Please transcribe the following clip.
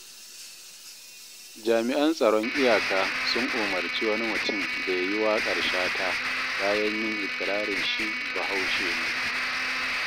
Jami'an tsaron iyaka sun umarci wani mutum da ya yi waƙar Shata bayan yin iƙirarin shi Bahaushe ne.